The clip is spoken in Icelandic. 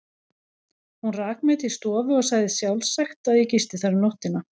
Hún rak mig til stofu og sagði sjálfsagt, að ég gisti þar um nóttina.